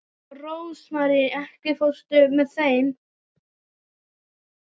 Rósmarý, ekki fórstu með þeim?